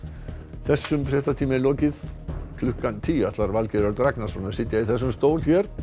þessum fréttatíma er lokið klukkan tíu ætlar Valgeir Örn Ragnarsson að sitja í þessum stól